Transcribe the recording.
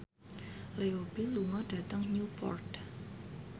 Leo Bill lunga dhateng Newport